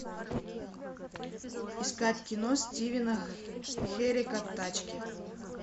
искать кино стивена херека тачки